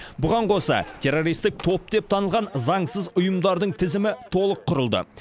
бұған қоса террористік топ деп танылған заңсыз ұйымдардың тізімі толық құрылды